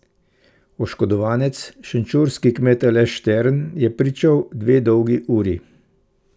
Oškodovanec, šenčurski kmet Aleš Štern, je pričal dve dolgi uri.